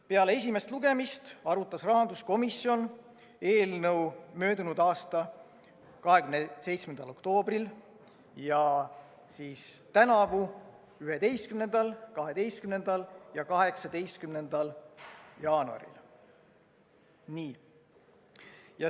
Peale esimest lugemist arutas rahanduskomisjon eelnõu möödunud aasta 27. oktoobril ja tänavu 11., 12. ja 18. jaanuaril.